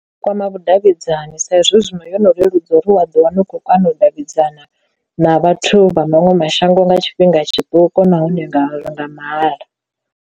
Kwama vhudavhidzani sa izwi zwino yo no leludza uri wa ḓi wana u khou kana u davhidzana na vhathu vha maṅwe mashango nga tshifhinga tshiṱuku nahone nga nga mahala.